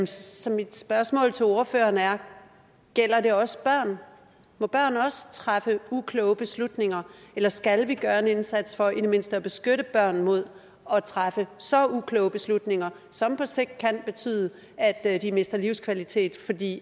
så mit spørgsmål til ordføreren er gælder det også børn må børn også træffe ukloge beslutninger eller skal vi gøre en indsats for i det mindste at beskytte børn mod at træffe så ukloge beslutninger som på sigt kan betyde at at de mister livskvalitet fordi